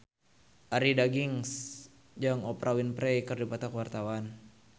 Arie Daginks jeung Oprah Winfrey keur dipoto ku wartawan